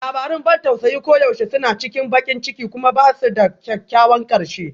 Labarun ban tausayi koyaushe suna cikin baƙin ciki kuma ba su da kyakkyawan ƙarshe